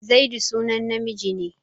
Zaidu sunan namiji ne.